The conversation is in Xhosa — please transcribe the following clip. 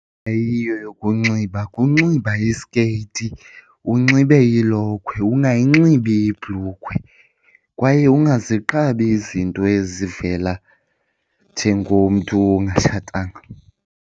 Eyiyo yokunxiba kunxiba isikeyiti, unxibe ilokhwe ungayinxibi ibhulukhwe kwaye ungaziqabi izinto ezivela njengomntu ongatshatanga.